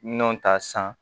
Nɔnɔ ta san